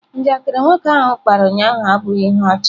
Njakịrị nwoke ahụ kpara ụnyahụ abụghị ihe ọchị.